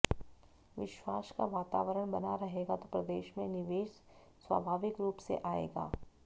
विश्वास का वातावरण बना रहेगा तो प्रदेश में निवेश स्वाभाविक रूप से आएगा